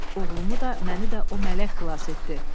Oğlumu da, məni də o mələk xilas etdi.